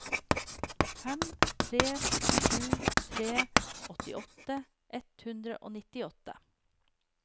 fem tre sju tre åttiåtte ett hundre og nittiåtte